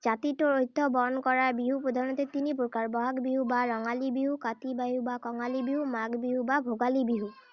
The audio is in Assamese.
জাতিটোৰ ঐত্য় বহন কৰা বিহু প্ৰধানতে তিনি প্ৰকাৰ। বহাগ বিহু বা ৰঙালী বিহু, কাতি বিহু বা কঙালী বিহু, মাঘ বিহু বা ভোগালী বিহু।